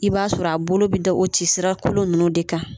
I b'a sɔrɔ a bolo bɛ da o cisira kolon ninnu de kan.